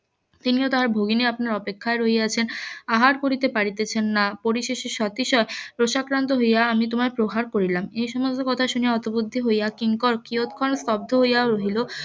তিনিও তাহার ভগিনী আপনার অপেক্ষায় রহিয়াছেন আহার করিতে পারিতেছেন না পরিশেষে . রোষাক্রান্ত হইয়া আমি তোমায় প্রহার করিলাম এই সমস্ত কথা শুনিয়া হতবুদ্ধি হইয়া কিংকর কিয়ৎ ক্ষণ স্তব্ধ হইয়া রহিল